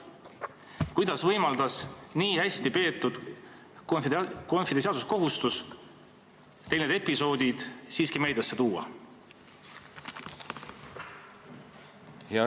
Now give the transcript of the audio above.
Kuidas võimaldas nii hästi täidetud konfidentsiaalsuskohustus teil need episoodid siiski meediasse tuua?